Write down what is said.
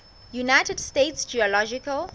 united states geological